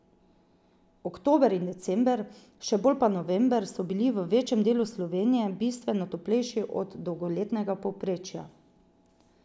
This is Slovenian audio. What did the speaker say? Oktober in december, še bolj pa november, so bili v večjem delu Slovenije bistveno toplejši od dolgoletnega povprečja.